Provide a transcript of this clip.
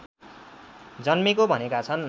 जन्मेको भनेका छन्